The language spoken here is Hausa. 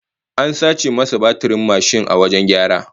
An sace masa batirin mashin a wajen gyara